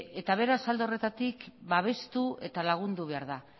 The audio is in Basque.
beraz alde horretatik babestu eta lagundu behar da